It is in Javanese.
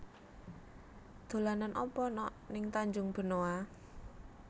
Dolanan apa nok ning Tanjung Benoa